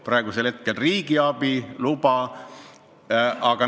Praegusel juhul on tegu riigiabi loaga.